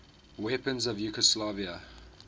weapons of yugoslavia